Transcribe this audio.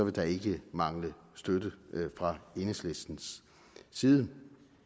der ikke mangle støtte fra enhedslistens side